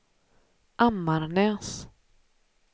Ammarnäs